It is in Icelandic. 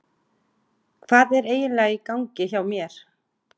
Hvað er eiginlega í gangi hjá mér?